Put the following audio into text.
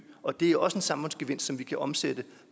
og det er også en samfundsgevinst som vi kan omsætte